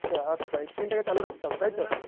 আচ্ছা আচ্ছা এই Screen -টাকে চালু রাখতে হবে তাই তো